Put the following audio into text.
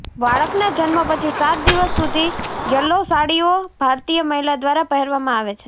બાળકના જન્મ પછી સાત દિવસ સુધી યલો સાડીઓ ભારતીય મહિલા દ્વારા પહેરવામાં આવે છે